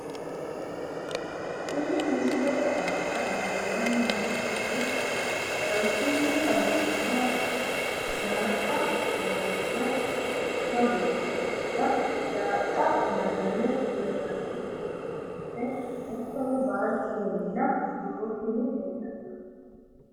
Kunni misilete aana lelanni nooerre haranchunni xawisemoha ikkiro daaxa loosano mitto beetotinna daaxa mazane hiranni balance hatono baldena wolooturi leelanoe